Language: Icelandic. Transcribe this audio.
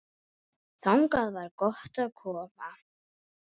Þangað var gott að koma.